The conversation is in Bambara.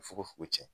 Fogo fogo tiɲɛ